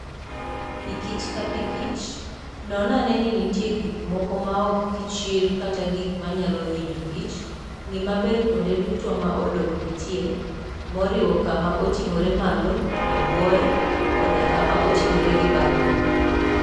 Pikich ka pikich, non ane ni nitie gik moko maok kichr kata gik manyalo hinyo kich. Ng'i maber kuonde duto ma odok nitie, moriwo kama oting'ore malo, e bwoye, koda kama oting'ore gi bathe.